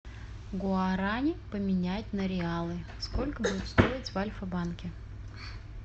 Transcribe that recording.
гуарани поменять на реалы сколько будет стоить в альфа банке